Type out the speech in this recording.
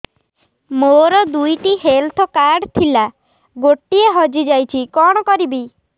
ମୋର ଦୁଇଟି health card ଥିଲା ଗୋଟିଏ ହଜି ଯାଇଛି କଣ କରିବି